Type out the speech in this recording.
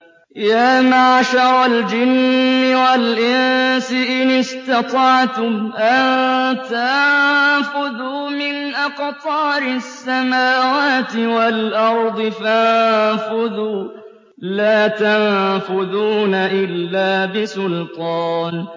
يَا مَعْشَرَ الْجِنِّ وَالْإِنسِ إِنِ اسْتَطَعْتُمْ أَن تَنفُذُوا مِنْ أَقْطَارِ السَّمَاوَاتِ وَالْأَرْضِ فَانفُذُوا ۚ لَا تَنفُذُونَ إِلَّا بِسُلْطَانٍ